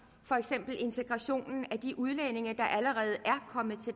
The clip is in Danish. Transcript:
for eksempel integrationen af de udlændinge der allerede